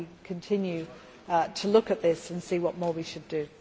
We shall continue to look at this and see what more we should do.